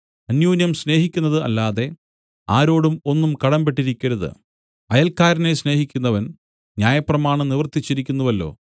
അന്യോന്യം സ്നേഹിക്കുന്നത് അല്ലാതെ ആരോടും ഒന്നും കടമ്പെട്ടിരിക്കരുത് അയൽക്കാരനെ സ്നേഹിക്കുന്നവൻ ന്യായപ്രമാണം നിവർത്തിച്ചിരിക്കുന്നുവല്ലോ